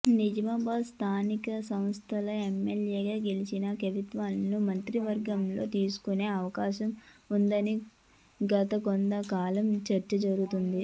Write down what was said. నిజామాబాద్ స్థానిక సంస్థల ఎమ్మెల్సీగా గెలిచిన కవితను మంత్రివర్గంలోకి తీసుకునే అవకాశం ఉందని గత కొంత కాలంగా చర్చ జరుగుతోంది